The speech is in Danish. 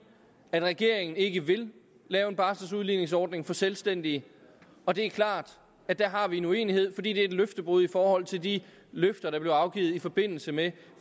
er fordi regeringen ikke vil lave en barseludligningsordning for selvstændige og det er klart at der har vi en uenighed fordi det er et løftebrud i forhold til de løfter der blev afgivet i forbindelse med